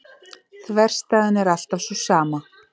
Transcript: Þverstæðan er alltaf sú sama.